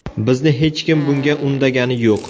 Bizni hech kim bunga undagani yo‘q.